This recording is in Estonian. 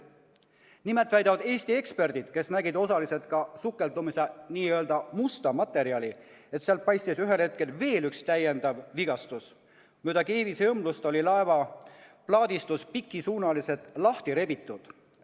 Nimelt väidavad Eesti eksperdid, kes nägid osaliselt ka sukeldumise n-ö musta materjali, et sealt paistis ühel hetkel veel üks täiendav vigastus, mööda keevisõmblust oli laeva plaadistus pikisuunaliselt lahti rebitud.